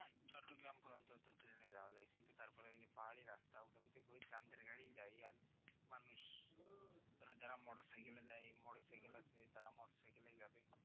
চট্টগ্রাম পর্যন্ত ট্রেনে যাওয়া যায় কিন্তু তারপর ওই যে পাহাড়ি রাস্তা ওখান থেকে ওই চাঁদের গাড়ি যাই আর মানুষ যারা মোটরসাইকেলে যায় মোটরসাইকেল আছে তারা মোটরসাইকেলে যাবে